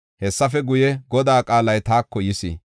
Hessafe guye, Godaa qaalay taako yis: